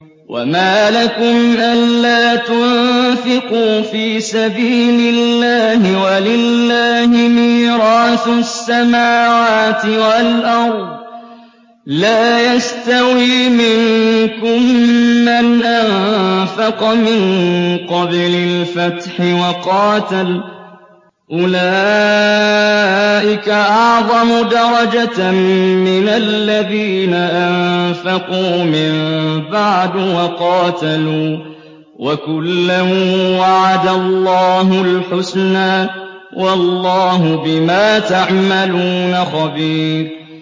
وَمَا لَكُمْ أَلَّا تُنفِقُوا فِي سَبِيلِ اللَّهِ وَلِلَّهِ مِيرَاثُ السَّمَاوَاتِ وَالْأَرْضِ ۚ لَا يَسْتَوِي مِنكُم مَّنْ أَنفَقَ مِن قَبْلِ الْفَتْحِ وَقَاتَلَ ۚ أُولَٰئِكَ أَعْظَمُ دَرَجَةً مِّنَ الَّذِينَ أَنفَقُوا مِن بَعْدُ وَقَاتَلُوا ۚ وَكُلًّا وَعَدَ اللَّهُ الْحُسْنَىٰ ۚ وَاللَّهُ بِمَا تَعْمَلُونَ خَبِيرٌ